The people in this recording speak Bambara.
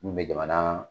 Mun bɛ jamana